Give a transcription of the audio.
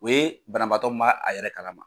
U ye banabaatɔ min m'a a yɛrɛ kalama.